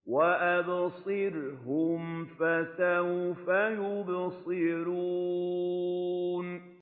وَأَبْصِرْهُمْ فَسَوْفَ يُبْصِرُونَ